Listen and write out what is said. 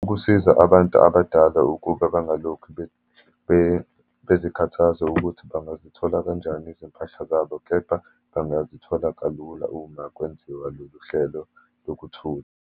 Ukusiza abantu abadala ukuba bangalokhu bezikhathaze ukuthi bangazithola kanjani izimpahla zabo, kepha bangazithola kalula uma kwenziwa lolu hlelo lokuthutha.